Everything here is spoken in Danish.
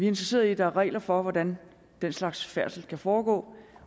interesseret i at der er regler for hvordan den slags færdsel skal foregå